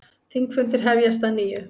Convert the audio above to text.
Þingfundir hefjast að nýju